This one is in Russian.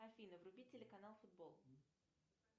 афина вруби телеканал футбол